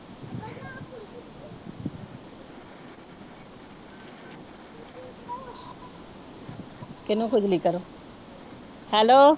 ਕਿਹਨੂੰ ਖੁਜਲੀ ਕਰੋ Hello